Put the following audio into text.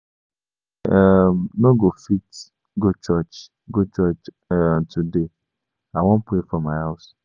I um no go fit go church go church um today. I wan pray for my house.